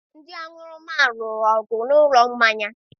Ndị aṅụrụma lụrụ ọgụ n'ụlọ mmanya.